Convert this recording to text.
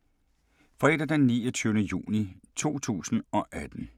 Fredag d. 29. juni 2018